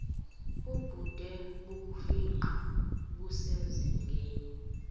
ubude bokufingqa busezingeni